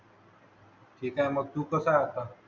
ठीक आहे मग तू कसा आहे आता